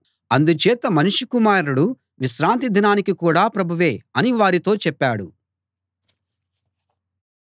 అందుచేత మనుష్య కుమారుడు విశ్రాంతి దినానికి కూడా ప్రభువే అని వారితో చెప్పాడు